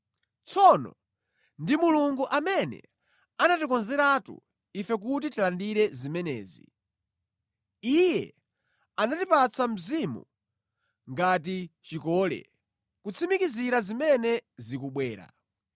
Tsono ndi Mulungu amene anatikonzeratu ife kuti tilandire zimenezi. Iye anatipatsa Mzimu ngati chikole, kutsimikizira zimene zikubwera.